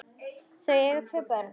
Þau eiga tvö börn